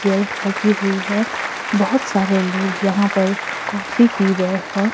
Chair लगी हुई है बहुत सारे लोग यहां पर कॉफी पी रहे है।